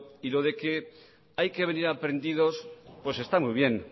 y lo de que hay que venir aprendidos pues está muy bien